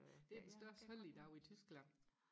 det er den største helligdag i Tyskland